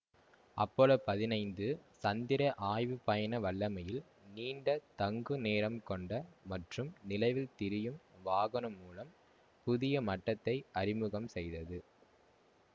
Apollo பதினைந்து சந்திர ஆய்வுப்பயண வல்லமையில் நீண்ட தங்கு நேரம் கொண்ட மற்றும் நிலவில் திரியும் வாகனம் மூலம் புதிய மட்டத்தை அறிமுகம் செய்தது